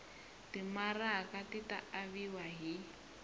timaraka ti ta aviwa hi